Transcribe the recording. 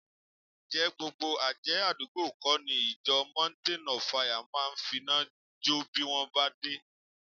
Ǹjẹ́ gbogbo àjẹ́ àdúgbò kọ́ ni ìjọ Mountain of Fire máa finá jọ́ bí wọn bá dé